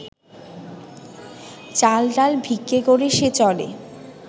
চাল ডাল ভিক্ষে করে সে চলে